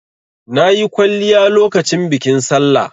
Na yi kwalliya lokacin bikin Sallah.